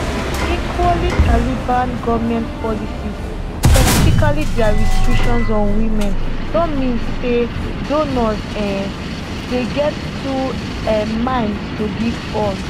equally taliban goment policies specifically dia restrictions on women don mean say donors um dey get two um minds to give funds